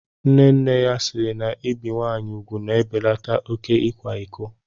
Nne nne ya siiri na ibi nwaanyị ugwu na-ebelata oké ịkwa iko.